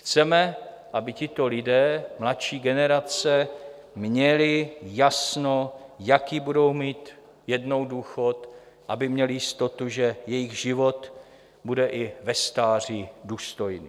Chceme, aby tito lidé, mladší generace, měli jasno, jaký budou mít jednou důchod, aby měli jistotu, že jejich život bude i ve stáří důstojný.